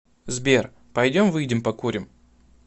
сбер пойдем выйдем покурим